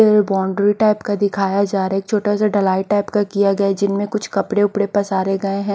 ये boundary type दिखाई जा रहा है एक छोटा सा ढलाई टाइप किया गया जिनमें कुछ कपड़े वपड़े पसारे गए हैं।